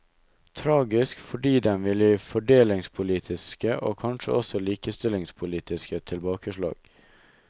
Tragisk fordi den vil gi fordelingspolitiske og kanskje også likestillingspolitiske tilbakeslag.